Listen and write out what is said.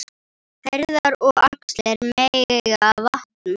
Herðar og axlir megi vanta.